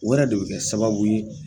wɛrɛ de bɛ kɛ sababu ye